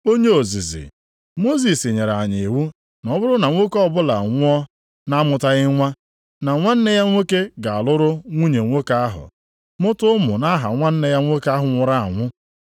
“Onye ozizi, Mosis nyere anyị iwu na ọ bụrụ na nwoke ọbụla anwụọ na-amụtaghị nwa, na nwanne ya nwoke ga-alụrụ nwunye nwoke ahụ, mụta ụmụ nʼaha nwanne ya nwoke ahụ nwụrụ anwụ.